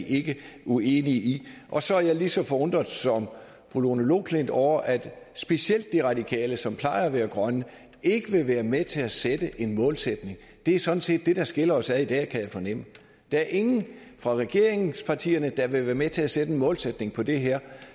vi ikke uenige i og så er jeg lige så forundret som fru lone loklindt er over at specielt de radikale som plejer at være grønne ikke vil være med til at sætte en målsætning det er sådan set det der skiller os ad i dag kan jeg fornemme der er ingen fra regeringspartierne der vil være med til at sætte en målsætning på det her